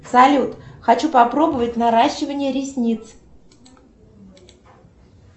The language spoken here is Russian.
салют хочу попробовать наращивание ресниц